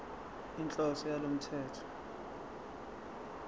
inhloso yalo mthetho